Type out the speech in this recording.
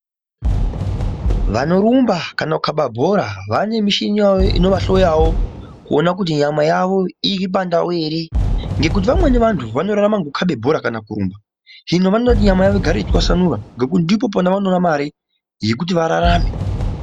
Vanorumba kana kukhaba bhora vane mishini yavo inovahloyawo kuona kuti nyama yavo iri pandau ere ngekuti vamwe vantu vanorarama ngokukhabe bhora kana kurumba hino vanoda kugara nyama igare yeitwasanura ngekuti ndipo pavanoona mare yekuti vararame.